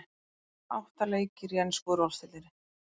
Átta leikir í ensku úrvalsdeildinni